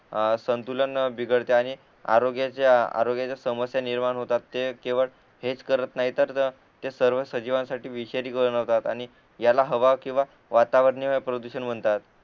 आ संतुलन बिगडते आणि आरोग्याच्या आरोग्याचा समस्या निर्माण होतात ते केवळ हेच करत नाही तर सर्व सजीवांसाठी विषारी बनवतात आणि याला हवा किंवा वातावरणीय प्रदूषण म्हणतात